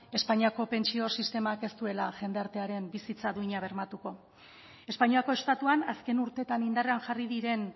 espainiako pentsio sistemak ez duela jendartearen bizitza duina bermatuko espainiako estatuan azken urteetan indarrean jarri diren